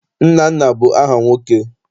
Nnanna bụ aha nwoke.